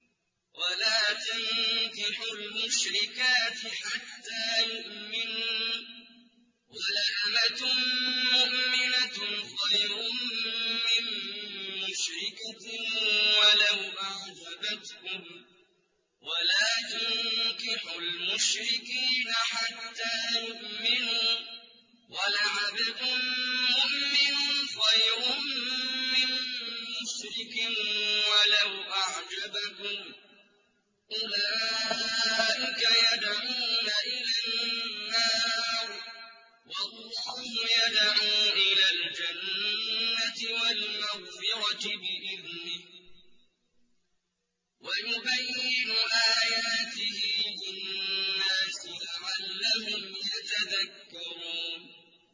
وَلَا تَنكِحُوا الْمُشْرِكَاتِ حَتَّىٰ يُؤْمِنَّ ۚ وَلَأَمَةٌ مُّؤْمِنَةٌ خَيْرٌ مِّن مُّشْرِكَةٍ وَلَوْ أَعْجَبَتْكُمْ ۗ وَلَا تُنكِحُوا الْمُشْرِكِينَ حَتَّىٰ يُؤْمِنُوا ۚ وَلَعَبْدٌ مُّؤْمِنٌ خَيْرٌ مِّن مُّشْرِكٍ وَلَوْ أَعْجَبَكُمْ ۗ أُولَٰئِكَ يَدْعُونَ إِلَى النَّارِ ۖ وَاللَّهُ يَدْعُو إِلَى الْجَنَّةِ وَالْمَغْفِرَةِ بِإِذْنِهِ ۖ وَيُبَيِّنُ آيَاتِهِ لِلنَّاسِ لَعَلَّهُمْ يَتَذَكَّرُونَ